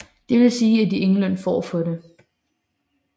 Det vil sige at de ingen løn får for det